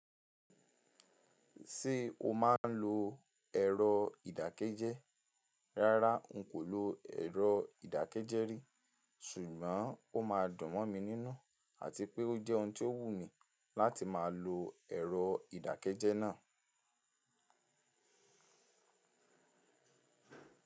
Ṣé o máa ń lo ẹ̀rọ ìdákẹ́jẹ́? Rárá, n kò lo ẹ̀rọ ìdákẹ́jẹ́ rí, ṣùgbọ́n ó máa dun mo mi nínú àti pé ó jẹ́ ohun tí ó wù mí láti máa lo ẹ̀rọ ìdákẹ́jẹ́ náà.